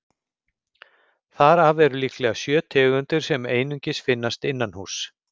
Þar af eru líklega sjö tegundir sem einungis finnast innanhúss.